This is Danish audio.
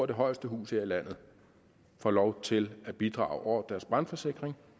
det højeste hus her i landet får lov til at bidrage over deres brandforsikring